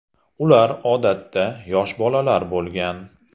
Ular, odatda, yosh bolalar bo‘lgan.